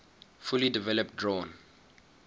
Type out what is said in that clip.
fully developed drawn